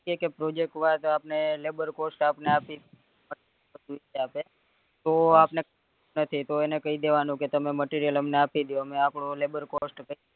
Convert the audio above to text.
કે કે project માં તો આપણને labor cost આપી ની આપે તો આપને નથી તો એને કઈ દેવાનું કે તમે material અમને આપી દ્યો અમે આપડું labor cost